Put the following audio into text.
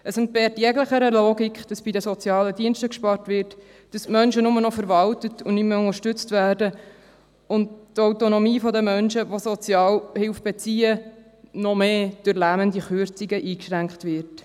Es entbehrt jeglicher Logik, dass bei den sozialen Diensten gespart wird, dass die Menschen nur noch verwaltet und nicht mehr unterstützt werden und die Autonomie der Sozialhilfe beziehenden Menschen noch mehr durch lähmende Kürzungen eingeschränkt wird.